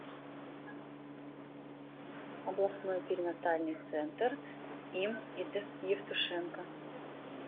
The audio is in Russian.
областной перинатальный центр им ид евтушенко